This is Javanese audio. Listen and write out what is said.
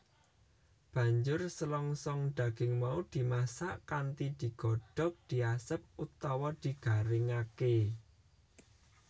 Banjur selongsong daging mau dimasak kanthi digodhog diasep utawa digaringake